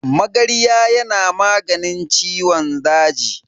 Magarya yana maganin ciwon daji.